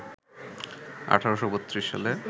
১৮৩২ সালে